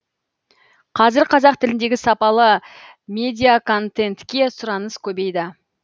қазір қазақ тіліндегі сапалы медиаконтентке сұраныс көбейді